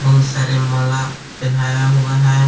बहुत सारी माला पहनाया हुआ है।